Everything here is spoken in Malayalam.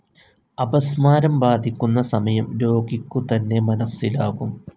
അപസ്മാരം ബാധിക്കുന്ന സമയം രോഗിക്കുതന്നെ മനസ്സിലാകും.